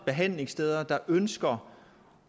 behandlingssteder der ønsker